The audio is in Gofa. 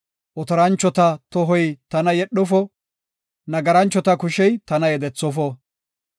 Otoranchota tohoy tana yedhofo; nagaranchota kushey tana yedethofo.